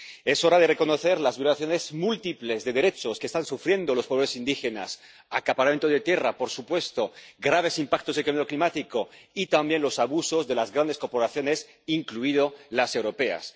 Es hora de reconocer las múltiples violaciones de derechos que están sufriendo los pobres indígenas acaparamiento de tierras —por supuesto—, graves impactos del cambio climático y también los abusos de las grandes corporaciones —incluidas las europeas—.